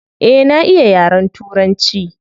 Eh na iya yaren turanci.